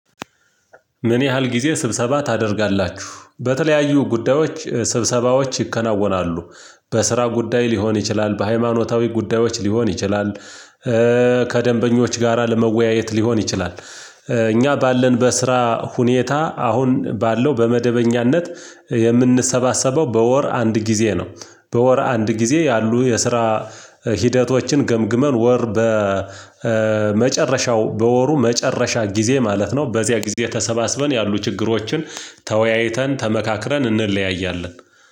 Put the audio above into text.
ምን ያህል ጊዜ ስብሰባ ታደርጋላችሁ በተለያዩ ጉዳዮች ስብሰባዎች ይከናወናሉ በስራ ጉዳይ ሊሆን ይችላል በሃይማኖታዊ ጉዳዮች ሊሆን ይችላል። ከደንበኞች ጋራ ለመወያየት ሊሆን ይችላል። እኛ ባለን በስራ ሁኔታ አሁን ባለው በመደበኛነት የምንሰባሰበው በወር አንድ ጊዜ ነው። በወር አንድ ጊዜ ያሉ የስራ ሂደቶችን ገምግመን ወር በመጨረሻው በወሩ መጨረሻ ጊዜ ማለት ነው። በዚያ ጊዜ ተሰባስበን ያሉ ችግሮችን ተወያይተን ተመካክረን እንለያያለን።